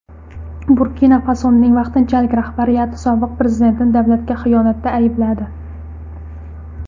Burkina-Fasoning vaqtinchalik rahbariyati sobiq prezidentni davlatga xiyonatda aybladi.